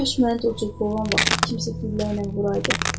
Kaş məni də o cür qovan vaxtı kimsə güllələyəydi.